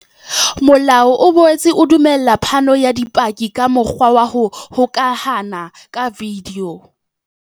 Molao o boetse o dumella phano ya bopaki ka mokgwa wa ho hokahana ka video.